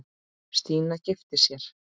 Stína giftist sér.